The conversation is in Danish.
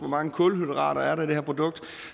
mange kulhydrater der er i det produkt